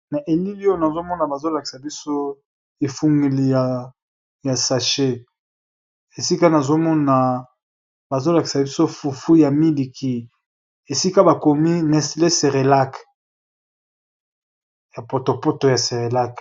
Na elili oyo nazomona bazolakisa biso efungeliya sache esika nazomona bazolakisa biso fufu ya miliki esika bakomi neslait cerelac ya potopoto ya cerelac.